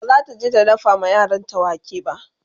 bazata je ta dafa ma yaranta wake ba